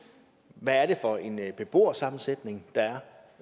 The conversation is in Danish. hvad det er for en beboersammensætning der